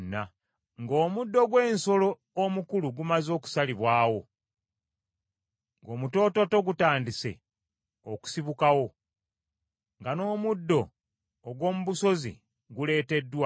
Ng’omuddo gw’ensolo omukulu gumaze okusalibwawo, ng’omutoototo gutandise okusibukawo, nga n’omuddo ogw’omu busozi guleeteddwa,